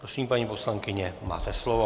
Prosím, paní poslankyně, máte slovo.